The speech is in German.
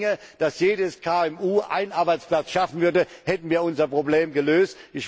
Wenn es gelänge, dass jedes KMU einen Arbeitsplatz schaffen würde, hätten wir unser Problem gelöst.